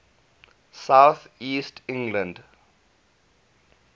south east england